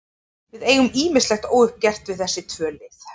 Við eigum ýmislegt óuppgert við þessi tvö lið.